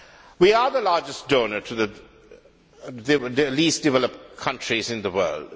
We are the largest donor to the least developed countries in the world